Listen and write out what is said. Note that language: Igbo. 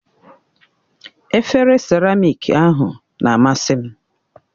Efere siramiiki ahụ na-amasị m